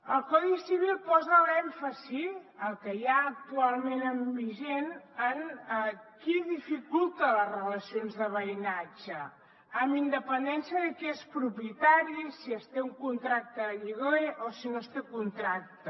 el codi civil posa l’èmfasi el que hi ha actualment vigent en qui dificulta les relacions de veïnatge amb independència de qui és propietari si es té un contracte de lloguer o si no es té contracte